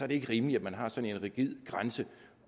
det ikke rimeligt at man har sådan en rigid grænse